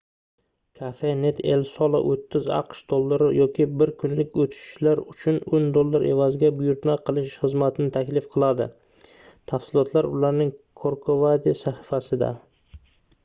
cafenet el sol 30 aqsh dollari yoki bir kunlik oʻtishlar uchun 10 dollar evaziga buyurtma qilish xizmatini taklif qiladi tafsilotlar ularning corcovadi sahifasida